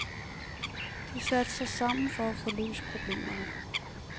De satte sig sammen for at få løst problemerne.